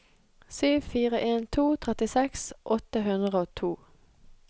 sju fire en to trettiseks åtte hundre og to